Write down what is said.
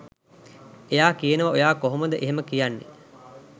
එයා කියනවා ඔයා කොහොමද එහෙම කියන්නේ?